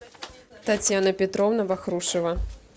татьяна петровна вахрушева